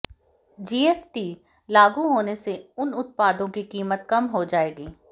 GST लागू होने से उन उत्पादों की कीमत कम हो जाएगी